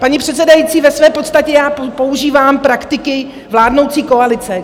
Paní předsedající, ve své podstatě já používám praktiky vládnoucí koalice.